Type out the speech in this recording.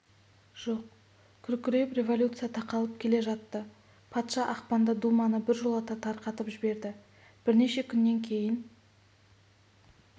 жоқ күркіреп революция тақалып келе жатты патша ақпанда думаны біржолата тарқатып жіберді бірнеше күннен кейін